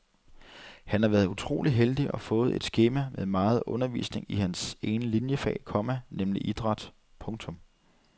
Han har været utrolig heldig og fået et skema med meget undervisning i hans ene liniefag, komma nemlig idræt. punktum